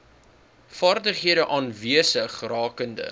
vaardighede aanwesig rakende